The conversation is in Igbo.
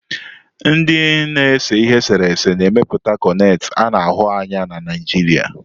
Ndị na-ese ihe eserese na-emepụta koneti ana ahu anya na Naijiria.